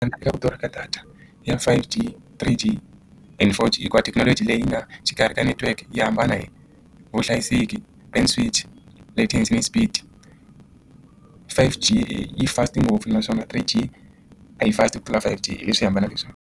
Ku durha ka data ya five g three G and four G hikuva thekinoloji leyi nga xikarhi ka network yi hambana hi vuhlayiseki train fridge speed five G yi fast ngopfu naswona three G a yi fast ku tlula five G hi leswi hambaneke leswaku.